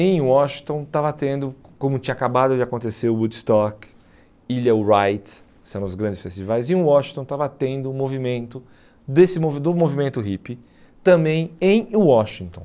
Em Washington estava tendo, como tinha acabado de acontecer o Woodstock, Ilha Wright, que são os grandes festivais, em Washington estava tendo um movimento desse movi do movimento hippie também em Washington.